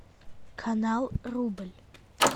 канал рубль